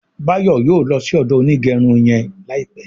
Bayo yóò ló sì odo Onigerun yén láìpé.